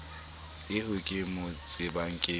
eo ke mo tsebang ke